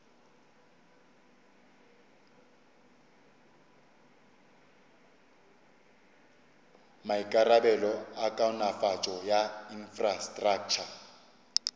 maikarabelo a kaonafatšo ya infrastraktšha